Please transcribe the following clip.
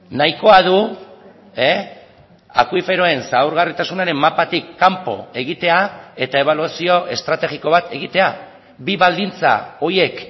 nahikoa du akuiferoen zaurgarritasunaren mapatik kanpo egitea eta ebaluazio estrategiko bat egitea bi baldintza horiek